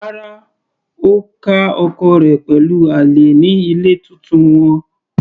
Rárá, Ó ká ọkọ rẹ̀ pẹ̀lú àlè ní ilé titun wọn.